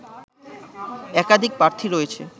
একাধিক প্রার্থী রয়েছে